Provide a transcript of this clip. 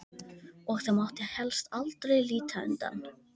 Og það mátti helst aldrei líta undan.